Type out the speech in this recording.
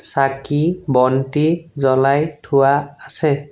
চাকি বন্তি জ্বলাই থোৱা আছে।